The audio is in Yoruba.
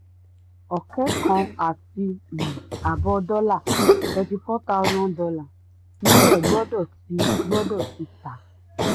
ọ̀kẹ́ kan àti um ààbọ̀ dọ́là ($34000) nílẹ̀ gbọ́dọ̀ ti gbọ́dọ̀ ti um tà.